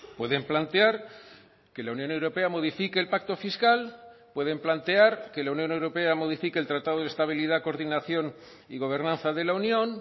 pueden plantear que la unión europea modifique el pacto fiscal pueden plantear que la unión europea modifique el tratado de estabilidad coordinación y gobernanza de la unión